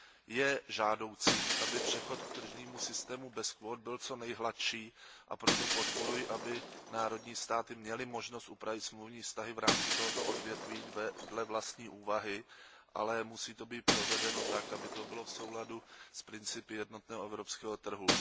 Je žádoucí, aby přechod k tržnímu systému bez kvót byl co nejhladší, a proto podporuji, aby členské státy měly možnost upravit smluvní vztahy v rámci tohoto odvětví dle vlastní úvahy, ale musí to být provedeno tak, aby to bylo v souladu s principy jednotného evropského trhu.